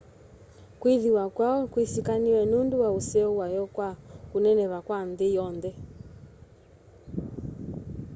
kwĩthĩwa kwayo kwĩsĩkanĩe nũndũ wa useo wayo kwa kũneneva kwa nthĩ yonthe